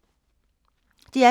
DR P2